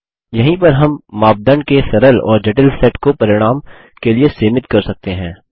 यहीं पर हम मापदंड के सरल और जटिल सेट को परिणाम के लिए सीमित कर सकते हैं